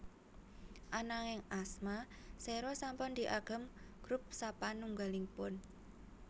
Ananging asma Xero sampun diagem grup sapanunggalipun